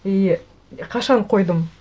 и қашан қойдым